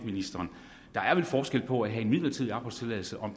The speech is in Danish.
ministeren der er vel forskel på at have en midlertidig opholdstilladelse og